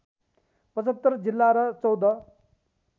७५ जिल्ला र १४